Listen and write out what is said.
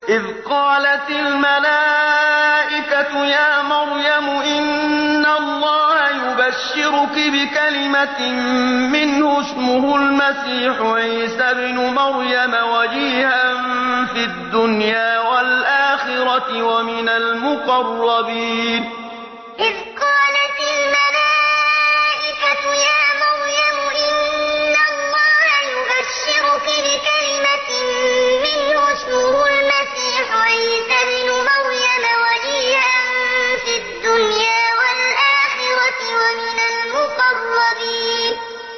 إِذْ قَالَتِ الْمَلَائِكَةُ يَا مَرْيَمُ إِنَّ اللَّهَ يُبَشِّرُكِ بِكَلِمَةٍ مِّنْهُ اسْمُهُ الْمَسِيحُ عِيسَى ابْنُ مَرْيَمَ وَجِيهًا فِي الدُّنْيَا وَالْآخِرَةِ وَمِنَ الْمُقَرَّبِينَ إِذْ قَالَتِ الْمَلَائِكَةُ يَا مَرْيَمُ إِنَّ اللَّهَ يُبَشِّرُكِ بِكَلِمَةٍ مِّنْهُ اسْمُهُ الْمَسِيحُ عِيسَى ابْنُ مَرْيَمَ وَجِيهًا فِي الدُّنْيَا وَالْآخِرَةِ وَمِنَ الْمُقَرَّبِينَ